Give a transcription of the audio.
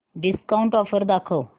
discount offer दाखव